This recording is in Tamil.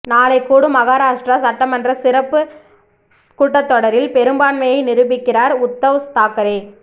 நாளை கூடும் மகாராஷ்டிரா சட்டமன்ற சிறப்பு கூட்டத்தொடரில் பெரும்பான்மையை நிரூபிக்கிறார் உத்தவ் தாக்கரே